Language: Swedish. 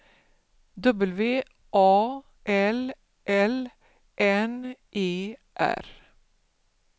W A L L N E R